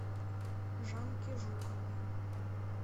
жанки жуковой